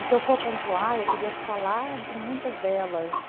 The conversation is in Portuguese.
E se eu for pontuar, eu teria que falar de muitas delas.